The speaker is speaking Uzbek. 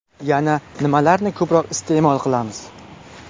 Yana nimalarni ko‘proq iste’mol qilamiz?